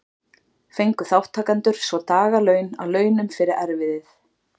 Fengu þátttakendur svo dagatal að launum fyrir erfiðið.